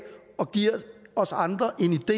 og giver os andre